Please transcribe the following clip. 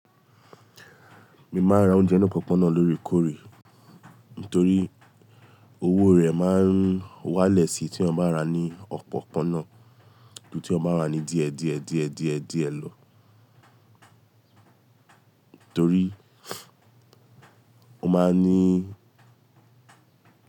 Mi máa ń ra oúnjẹ nù opọ̀pọ̀ná náà lórí kórí torí owó rẹ̀ máa ń wá lẹ̀ sí i tí ọ bá ra ní ọ̀pọ̀pọ̀ná náà ju tí o bá ra ní díẹ̀ díẹ̀ díẹ̀ díẹ̀ díẹ̀ lọ torí ó máa ń ní.